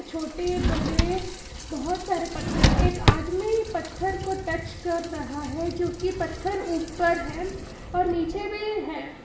छोटे बड़े बहोत सारे पत्थर एक आदमी पत्थर को टच कर रहा है जो की पत्थर ऊपर है और नीचे भी है।